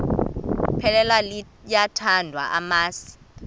iphela liyawathanda amasi